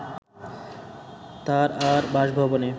তারআর বাসভবনে